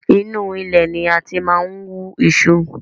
Inu ilẹ̀ ni a ti máa ń wú iṣu